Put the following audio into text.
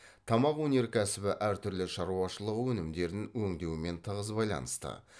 тамақ өнеркәсібі әр түрлі шаруашылығы өнімдерін өңдеумен тығыз байланысты